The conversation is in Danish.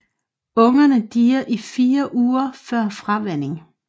Ungerne dier i fire uger før fravænning